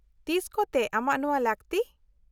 -ᱛᱤᱥ ᱠᱚᱛᱮ ᱟᱢᱟᱜ ᱱᱚᱶᱟ ᱞᱟᱹᱠᱛᱤ ?